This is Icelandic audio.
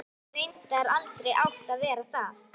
Og hefði reyndar aldrei átt að verða það.